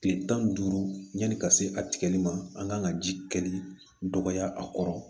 Kile tan ni duuru yanni ka se a tigɛli ma an kan ka ji kɛli dɔgɔya a kɔrɔ